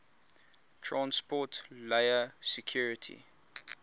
transport layer security